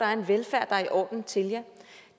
er en velfærd der er i orden til jer